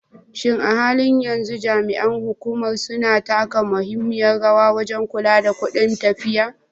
Shin a halin yanzu jami'an hukumar suna taka muhimmiyar rawa wajen kula da kudin tafiya?